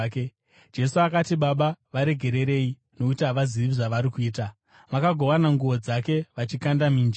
Jesu akati, “Baba, varegererei, nokuti havazivi zvavari kuita.” Vakagovana nguo dzake vachikanda mijenya.